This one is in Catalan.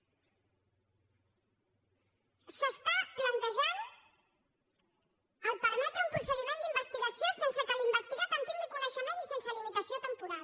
s’està plantejant el fet de permetre un procediment d’investigació sense que l’investigat en tingui coneixement i sense limitació temporal